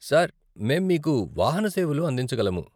Sir, మేము మీకు వాహన సేవలు అందించగలము.